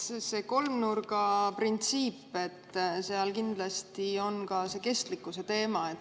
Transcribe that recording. See kolmnurgaprintsiip – seal kindlasti on ka kestlikkuse teema.